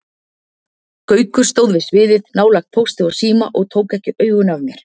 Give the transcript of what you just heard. Gaukur stóð við sviðið, nálægt Pósti og Síma og tók ekki augun af mér.